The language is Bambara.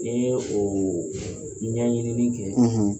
N ye o ɲɛɲini kɛ,